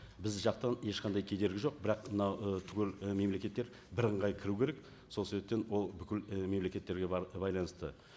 біз жақтан ешқандай кедергі жоқ бірақ мынау і түгел і мемлекеттер бірыңғай кіру керек сол себептен ол бүкіл і мемлекеттерге байланысты